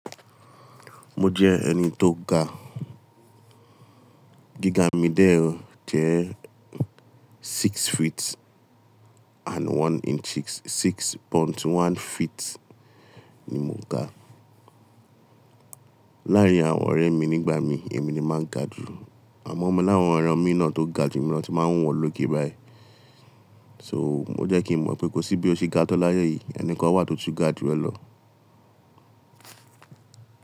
Mo jẹ́ ẹni tó ga. Gíga mí dẹ̀ jẹ́ six feet and one inch, six point one feet ni mo ga. Láàárín àwọn ọ̀rẹ́ mi nígbà mi, èmi ni máa ń ga jù. Àmọ́, mo láwọn ọ̀rẹ́ mìí náà tó ga jù mi lọ tí n máa ń wo wọn lókè báyìí. So, ó jẹ́ kí n mọ̀ pé kò sí bí o ṣe ga tó láyé yìí, ẹni kan wà tó tún ga jù ẹ́ lọ.